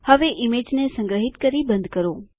હવે ઈમેજને સંગ્રહીત કરી બંધ કરો